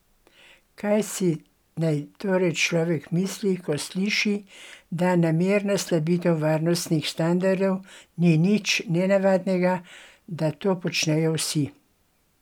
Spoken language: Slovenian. Kaj si naj torej človek misli, ko sliši, da namerna slabitev varnostnih standardov ni nič nenavadnega, da to počnejo vsi?